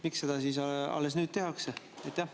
Miks seda alles nüüd tehakse?